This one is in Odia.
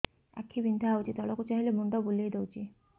ଆଖି ବିନ୍ଧା ହଉଚି ତଳକୁ ଚାହିଁଲେ ମୁଣ୍ଡ ବୁଲେଇ ଦଉଛି